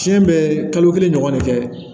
Tiɲɛ bɛɛ kalo kelen ɲɔgɔn de kɛ